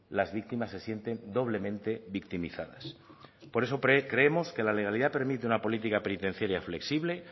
las víctimas se sienten doblemente victimizadas por eso creemos que la legalidad permite una política penitenciaria flexible